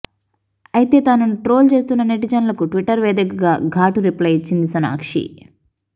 అయితే తనను ట్రోల్ చేస్తున్న నెటిజన్లకు ట్విట్టర్ వేదికగా ఘాటు రిప్లై ఇచ్చింది సోనాక్షి